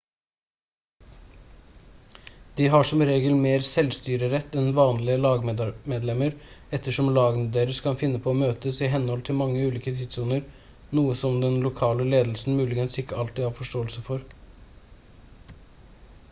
de har som regel mer selvstyrerett enn vanlige lagmedlemmer ettersom lagene deres kan finne på å møtes i henhold til mange ulike tidssoner noe som den lokale ledelsen muligens ikke alltid har forståelse for